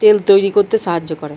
তেল তৈরি করতে সাহায্য করে।